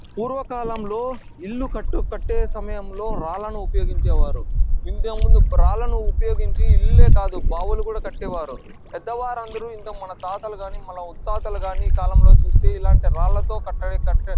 పూర్వ కాలంలో ఇల్లు కట్టే సమయంలో రాళ్లను ఉపయోగించేవారు ఇంతకూ ముందు రాళ్లను ఉపయోగించి ఇల్లే కాదు బావులను కట్టేవారు పెద్ద వారందరూ మన తాతలు కానీ మన ముత్తాతలు కానీ ఈ కాలంలో చుస్తేయ్ ఇల్లాంటి రాళ్లతో కట్టడి కట్టే --